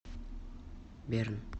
берн